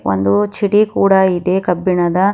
ಒಂದು ಚಿಡಿ ಕೂಡ ಇದೆ ಕಬ್ಬಿಣದ--